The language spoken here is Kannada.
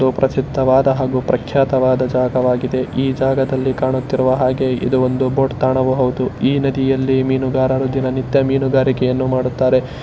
ಇದು ಪ್ರಸಿದ್ಧವಾದ ಪ್ರಖ್ಯಾತವಾದ ಜಾಗವಾಗಿದೆ. ಈ ಜಗದಲ್ಲಿ ಕಾಣುತ್ತಿರುವ ಹಾಗೆ ಇದು ಒಂದು ಬೋಟ್ ಕಾಣಬಹುದು. ಈ ನದಿಯಲ್ಲಿ ಮೀನುಗಾರರು ದಿನನಿತ್ಯ ಮೀನುಗಾರಿಕೆಯನ್ನು ಮಾಡುತ್ತಾರೆ.